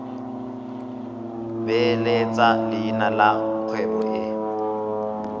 beeletsa leina la kgwebo e